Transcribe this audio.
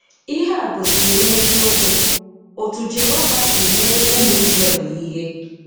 Ihe a gosiri n'eziokwu otú Jehova si mee ụmụ Izrel ihe.